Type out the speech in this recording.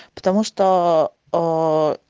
потому что ээ